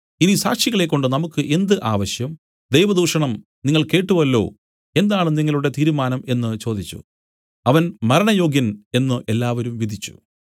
ഇനി സാക്ഷികളെക്കൊണ്ട് നമുക്കു എന്ത് ആവശ്യം ദൈവദൂഷണം നിങ്ങൾ കേട്ടുവല്ലോ എന്താണ് നിങ്ങളുടെ തീരുമാനം എന്നു ചോദിച്ചു അവൻ മരണയോഗ്യൻ എന്നു എല്ലാവരും വിധിച്ചു